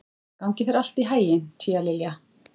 Gangi þér allt í haginn, Tíalilja.